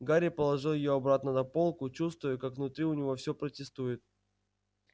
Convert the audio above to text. гарри положил её обратно на полку чувствуя как внутри у него всё протестует